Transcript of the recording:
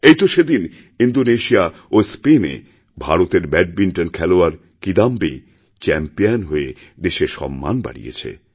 এই তো সেদিন ইন্দোনেশিয়া ও স্পেনে ভারতেরব্যাডমিণ্টন খেলোয়াড় কিদাম্বী চ্যাম্পিয়ন হয়ে দেশের সম্মান বাড়িয়েছে